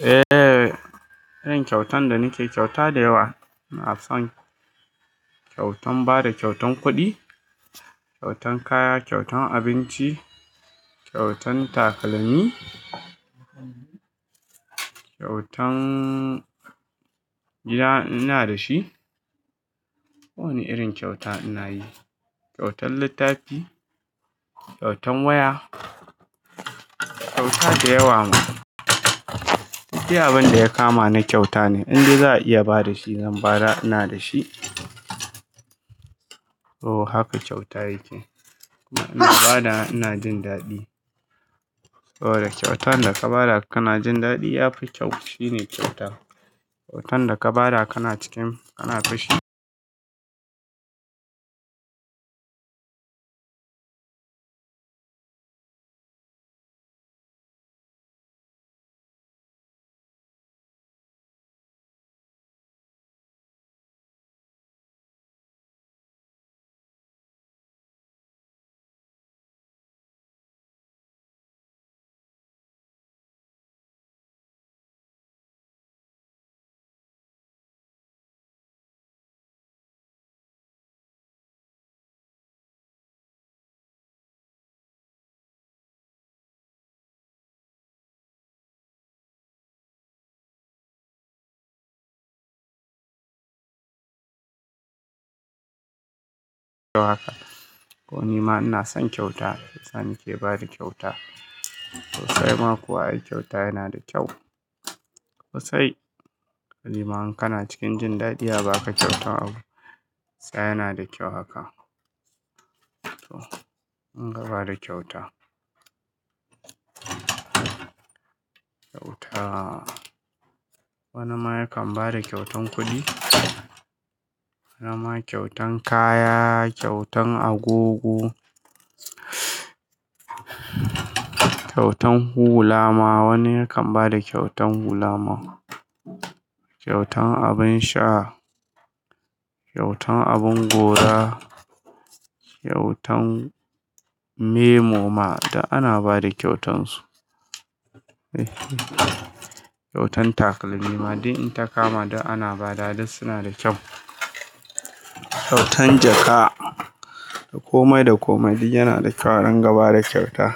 Eh, irin kyautan da nake, kyauta da yawa, ina son kyautan bada kyautan kuɗi, kyautan kaya, kyautan abinci, kyautan takalmi, kyautan gida in ina da shi. Ko wani irin kyauta ina yi, kyautan littafi, kyautan waya, kyauta da yawa. Duk dai abin da ya kama na kyauta ne, in dai za'a iya ba da shi zan bada, ina da shi. Toh haka kyauta yake, ina badawa ina jin daɗi. Saboda kyautan da ka bada kana jin daɗi yafi kyau. Shi ne kyauta. Kyautan da ka bada kana cikin, kana fushi. Ko ni ma ina son kyauta, shiyasa nake bada kyauta. Sosai ma kuwa, ai kyauta yana da kyau. Sosai, balle ma in kana cikin jin daɗi a ba ka kyauta abu, shiyasa yana da kyau haka. Toh, mun gama da kyauta. Kyauta. Wani ma yakan bada kyautan kuɗi, wani ma kyautan kaya, kyautan agogo, kyautan hula ma wani yakan bada kyautan hula ma. Kyautan abin sha, kyautan abin gora, kyautan memo ma, duk ana bada kyautan su. Eh, kyautan takalmi ma duk in ta kama duk ana bada duk suna da kyau. Kyautan jaka, komai da komai duk yana da kyau idan gaba da kyauta.